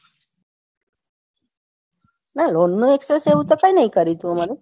ના લોન્જ નું તો કાંઈ નાતુ કર્યું અમારે કૌ ના એતો અમર ticket માં હશે કે નાઈ એતો અમને ખબર નથી પડી પણ